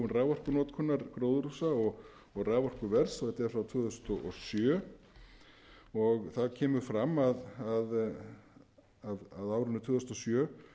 raforkunotkunar gróðurhúsa og raforkuverð og þetta er frá tvö þúsund og sjö þar kemur fram að á árinu tvö þúsund og sjö